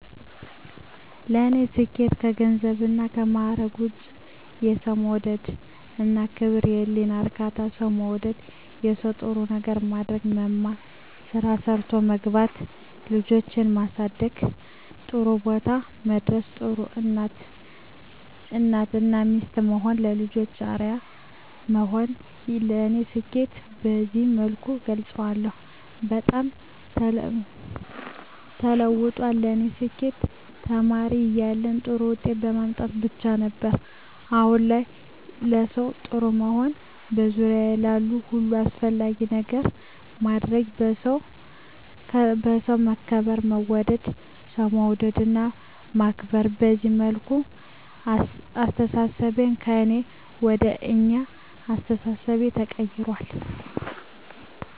ለኔ ስኬት ከገንዘብና ከማረግ ውጭ፦ የሠው መውደድ እና ክብር፤ የህሊና እርካታ፤ ሠው መውደድ፤ ለሠው ጥሩ ነገር ማድረግ፤ መማር፤ ስራ ሠርቶ መግባት፤ ልጆቼን ማሠደግ ጥሩቦታ ማድረስ፤ ጥሩ እናት እና ሚስት መሆን፤ ለልጆቼ አርያ መሆን ለኔ ስኬትን በዚህ መልኩ እገልፀዋለሁ። በጣም ተለውጧል ለኔ ስኬት ተማሪ እያለሁ ጥሩ ውጤት ማምጣት ብቻ ነበር። አሁን ላይ ለሠው ጥሩ መሆን፤ በዙሪያዬ ላሉ ሁሉ አስፈላጊ ነገር ማድረግ፤ በሠው መከበር መወደድ፤ ሠው መውደድ እና ማክበር፤ በዚህ መልኩ አስተሣሠቤ ከእኔ ወደ አኛ አስተሣሠቤ ተቀይራል።